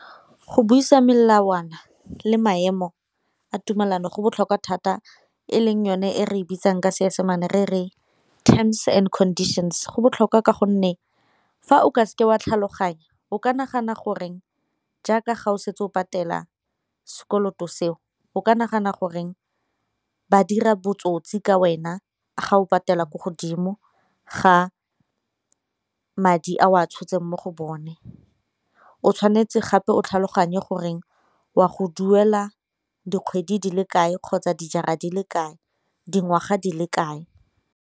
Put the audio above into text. Go buisa melawana le maemo a tumelano go botlhokwa thata e leng yone e re e bitsang ka Seesemane re re terms and conditions, go botlhokwa ka gonne fa o ka seke wa tlhaloganya o ke nagana gore jaaka ga o setse o patela sekoloto seo o ke nagana gore ba dira botsotsi ka wena ga o patela ko godimo ga madi a o a tshotseng mo go bone. O tshwanetse gape o tlhaloganye goreng wa go duela dikgwedi di le kae kgotsa dijara di le kae, dingwaga di le kae.